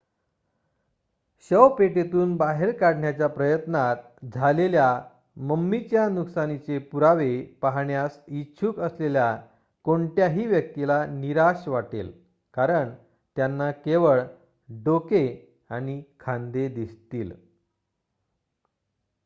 शवपेटीतून बाहेर काढण्याच्या प्रयत्नात झालेल्या मम्मीच्या नुकसानाचे पुरावे पाहण्यास इच्छुक असलेल्या कोणत्याही व्यक्तीला निराश वाटेल कारण त्यांना केवळ डोके आणि खांदे दिसतील